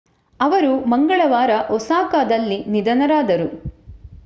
ಅವರು ಮಂಗಳವಾರ ಒಸಾಕಾದಲ್ಲಿ ನಿಧನರಾದರು